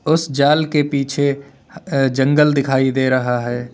उस जाल के पीछे जंगल दिखाई दे रहा है।